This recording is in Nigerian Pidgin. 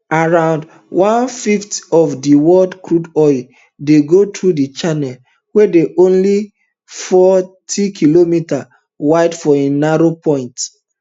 around one fifth of di world crude oil dey go through di channel wey dey only fortykm wide for im narrowest point